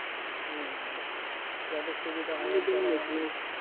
হম যাদের সুবিধা হয়